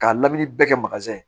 K'a lamini bɛɛ kɛ